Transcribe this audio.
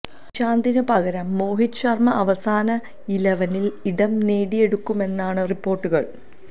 ഇഷാന്തിന് പകരം മോഹിത് ശര്മ്മ അവസാന ഇലവനില് ഇടം നേടിയേക്കുമെന്നാണ് റിപ്പോര്ട്ടുകള്